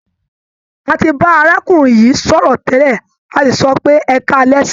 A ti bá arákùnrin yìí sọ̀rọ̀ tẹ́lẹ̀, a sì sọ pé "ẹkáalẹ́ sà".